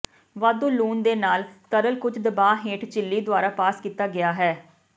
ਵਾਧੂ ਲੂਣ ਦੇ ਨਾਲ ਤਰਲ ਕੁਝ ਦਬਾਅ ਹੇਠ ਝਿੱਲੀ ਦੁਆਰਾ ਪਾਸ ਕੀਤਾ ਗਿਆ ਹੈ